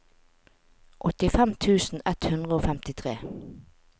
åttifem tusen ett hundre og femtitre